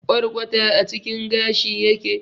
Kwarkwata a cikin gashi yake.